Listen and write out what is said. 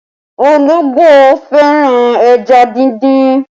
Ológbò fẹ́ràn ẹja dindin